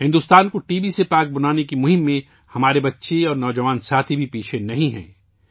بھارت کو T B سے پاک بنانے کی مہم میں ہمارے بچے اور نوجوان ساتھی بھی پیچھے نہیں ہیں